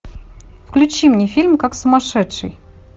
включи мне фильм как сумасшедший